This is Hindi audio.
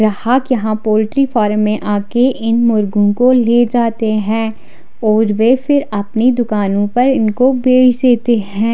ग्राहक यहाँ पोल्ट्री फार्म में आके इन मुर्गों को ले जाते हैं और वे फिर अपनी दुकानों पर इनको बेच देते हैं।